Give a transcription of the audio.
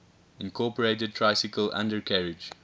incorporated tricycle undercarriage